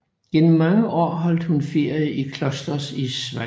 Gennem mange år holdt hun ferie i Klosters i Schweiz